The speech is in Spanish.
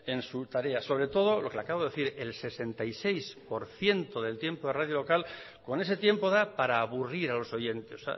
en su tarea sobre todo lo que le acabo de decir el sesenta y seis por ciento del tiempo de radio local con ese tiempo da para aburrir a los oyentes